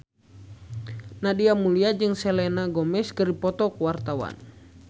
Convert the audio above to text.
Nadia Mulya jeung Selena Gomez keur dipoto ku wartawan